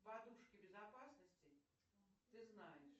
подушки безопасности ты знаешь